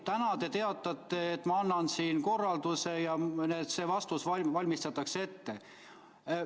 Täna te teatate, et annate korralduse ja vastus valmistatakse ette.